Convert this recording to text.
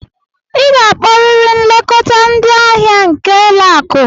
Ị ga-akpọrịrị nlekọta ndị ahịa nke ụlọ akụ!